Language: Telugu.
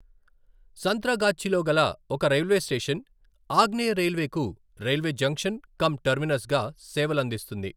సంత్రాగాచ్చిలో గల ఒక రైల్వే స్టేషన్ ఆగ్నేయ రైల్వేకు రైల్వే జంక్షన్ కమ్ టెర్మినస్గా సేవలందిస్తుంది.